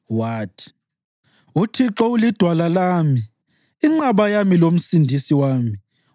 Wathi: “ UThixo ulidwala lami, inqaba yami lomsindisi wami;